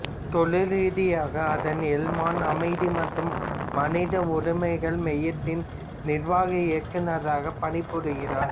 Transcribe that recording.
தொழில் ரீதியாக அதான் எல்மான் அமைதி மற்றும் மனித உரிமைகள் மையத்தின் நிர்வாக இயக்குநராக பணிபுரிகிறார்